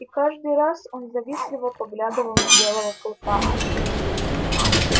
и каждый раз он завистливо поглядывал на белого клыка